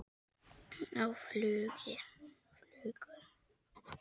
Á flugu?